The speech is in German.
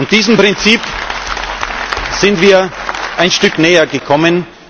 Diesem Prinzip sind wir ein Stück nähergekommen.